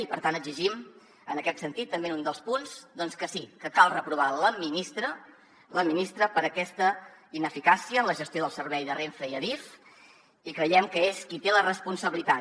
i per tant exigim en aquest sentit també en un dels punts doncs que sí que cal reprovar la ministra per aquesta ineficàcia en la gestió del servei de renfe i adif i creiem que és qui en té la responsabilitat